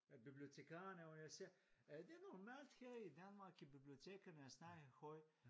Af bibliotikarene og jeg siger det er normalt her i Danmark i bibliotekerne at snakke højt